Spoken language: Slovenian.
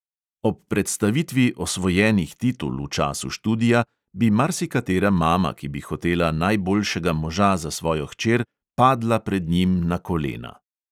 Ob predstavitvi osvojenih titul v času študija bi marsikatera mama, ki bi hotela najboljšega moža za svojo hčer, padla pred njim na kolena.